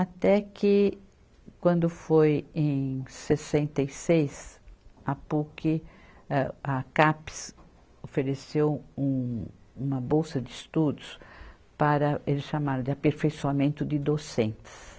Até que, quando foi em sessenta e seis, a Puc, âh, a Capes ofereceu um, uma bolsa de estudos para, eles chamaram de aperfeiçoamento de docentes.